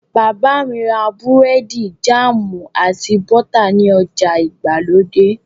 Bàbá mi ra búrẹ́dì, jáàmù, àti bọ́tà ní ọjà ìgbàlódé.